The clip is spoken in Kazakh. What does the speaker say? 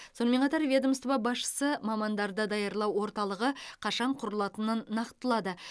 сонымен қатар ведомство басшысы мамандарды даярлау орталығы қашан құрылатынын нақтылады